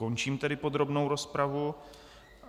Končím tedy podrobnou rozpravu.